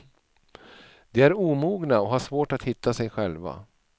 De är omogna och har svårt att hitta sig själva.